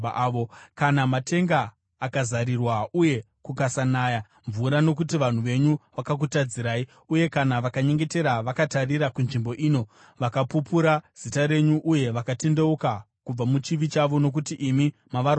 “Kana matenga akazarirwa uye kukasanaya mvura nokuti vanhu venyu vakutadzirai uye kana vakanyengetera vakatarira kunzvimbo ino vakapupura zita renyu uye vakatendeuka kubva muchivi chavo nokuti imi mavarwadzisa,